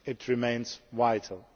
remains vital.